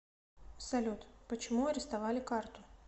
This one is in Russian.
салют почему арестовали карту